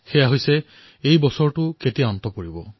সেয়া হল যে এই বৰ্ষটো কেতিয়া সমাপ্ত হব